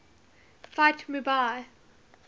fight mu bai